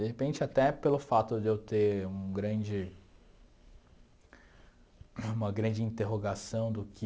De repente, até pelo fato de eu ter um grande uma grande interrogação do que...